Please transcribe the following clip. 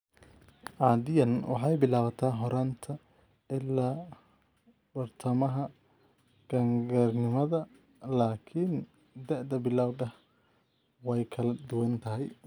Caadiyan waxay bilaabataa horraanta ilaa badhtamaha qaangaarnimada, laakiin da'da bilawga ahi way kala duwan tahay.